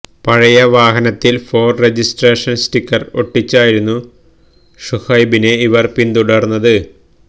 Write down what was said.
പഴയ വാഹനത്തില് for registration sticker ഒട്ടിച്ചായിരുന്നു ഷുഹൈബിനെ ഇവര് പിന്തുടര്ന്നത്